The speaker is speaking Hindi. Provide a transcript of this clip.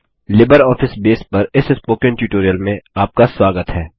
लिबरऑफिस बेस पर इस स्पोकन ट्यूटोरियल में आपका स्वागत है